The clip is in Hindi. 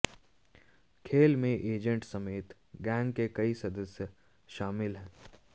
खेल में एजेंट समेत गैंग के कई सदस्य शामिल हैं